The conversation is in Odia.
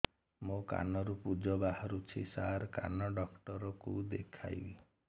ମୋ କାନରୁ ପୁଜ ବାହାରୁଛି ସାର କାନ ଡକ୍ଟର କୁ ଦେଖାଇବି